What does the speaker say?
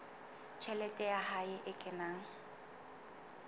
tjhelete ya hae e kenang